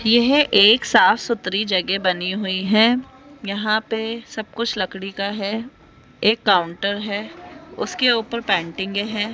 यह एक साफ सुथरी जगह बनी हुई है यहां पे सब कुछ लकड़ी का है एक काउंटर है उसके ऊपर पेंटिंगे है।